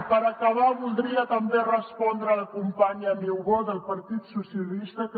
i per acabar voldria també respondre a la companya niubó del partit socialistes